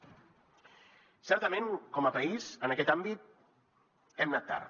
certament com a país en aquest àmbit hem anat tard